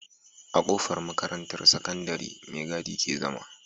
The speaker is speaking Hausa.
A kofar makarantar sakandari me gadi ke zama